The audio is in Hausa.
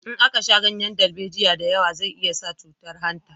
In aka sha ganyen darbejiya da yawa zai iya sa cutan hanta